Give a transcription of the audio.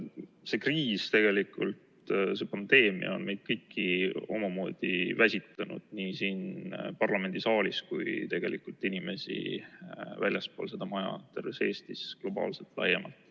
See kriis, see pandeemia on meid kõiki omamoodi väsitanud, nii meid siin parlamendisaalis kui ka inimesi väljaspool seda maja, terves Eestis ja ka globaalselt, laiemalt.